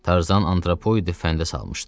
Tarzan antropoidi fəndə salmışdı.